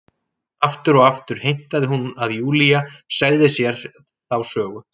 Aftur og aftur heimtaði hún að Júlía segði sér þá sögu.